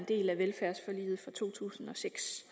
to tusind og seks